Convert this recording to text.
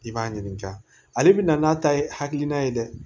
I b'a ɲininka ale bɛna n'a ta ye hakilina ye dɛ